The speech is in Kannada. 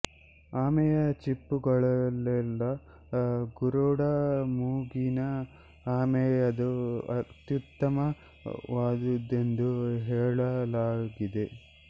ಆಮೆಯ ಚಿಪ್ಪುಗಳಲ್ಲೆಲ್ಲ ಗರುಡ ಮೂಗಿನ ಆಮೆಯದು ಅತ್ಯುತ್ತಮ ವಾದುದೆಂದು ಹೇಳಲಾಗಿದೆ